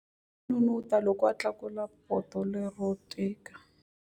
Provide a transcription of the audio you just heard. A n'unun'uta loko a tlakula poto lero tika.